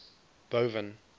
boven